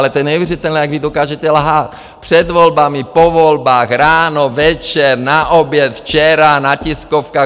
Ale to je neuvěřitelné, jak vy dokážete lhát před volbami, po volbách, ráno, večer, na oběd, včera na tiskovkách.